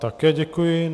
Také děkuji.